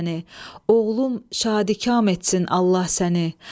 Oğlum şadikam etsin Allah səni.